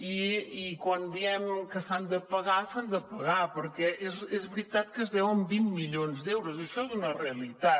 i quan diem que s’han de pagar s’han de pagar perquè és veritat que es deuen vint milions d’euros això és una realitat